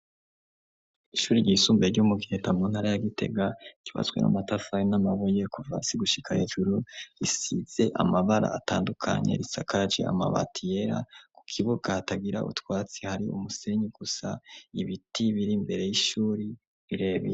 Ishuri ryisumbe ry'umugheta mu ntara ya gitega kibatswe n'amatafaye n'amabuykuva si gushika hejuru risize amabara atandukanye risakaraji amabati yera ku kibugahatagira utwatsi hari umusenyi gusa ibiti biri mbere y'ishuri rirebe.